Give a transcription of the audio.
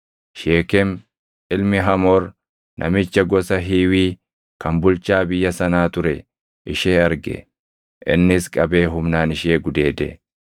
Sheekem ilmi Hamoor namicha gosa Hiiwii kan bulchaa biyya sanaa ture ishee arge; innis qabee humnaan ishee gudeede.